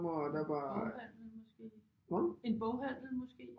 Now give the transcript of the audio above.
En boghandel måske en boghandel måske